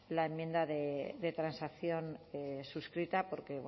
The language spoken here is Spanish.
la enmienda de transacción suscrita porque